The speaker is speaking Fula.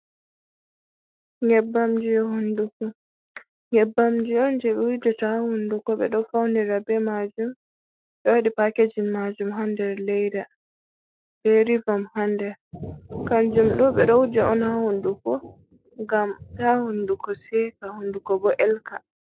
Nyebbamji on je be wujata ha hunduko ,be do faunira be majum be wadi pakejin majum hader leida be rivom hader kanjum do be do wuja on ha hunduko ngam ta hunduko seka hunduko bo elka.